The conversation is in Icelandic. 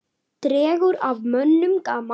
Dregur af mönnum gaman.